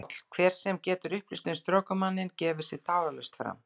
PÁLL: Hver sem getur upplýst um strokumanninn gefi sig tafarlaust fram.